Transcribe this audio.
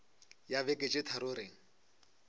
ya beke tše tharo re